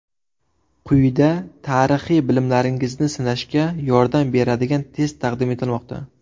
Quyida tarixiy bilimlaringizni sinashga yordam beradigan test taqdim etilmoqda.